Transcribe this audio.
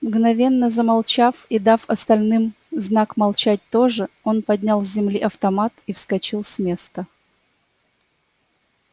мгновенно замолчав и дав остальным знак молчать тоже он поднял с земли автомат и вскочил с места